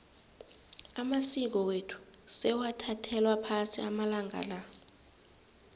amasiko wethu sewathathelwa phasi amalanga la